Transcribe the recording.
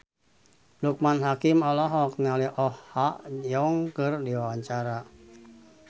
Loekman Hakim olohok ningali Oh Ha Young keur diwawancara